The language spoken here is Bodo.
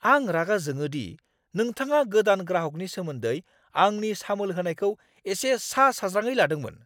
आं रागा जोंदों दि नोंथाङा गोदान ग्राहकनि सोमोन्दै आंनि सामोल होनायखौ एसे सा साज्राङै लादोंमोन।